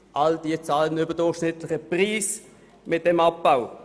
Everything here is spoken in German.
Sie alle bezahlen einen überdurchschnittlichen Preis mit diesem Abbau.